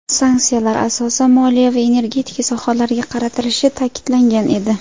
Sanksiyalar asosan moliya va energetika sohalariga qaratilishi ta’kidlangan edi.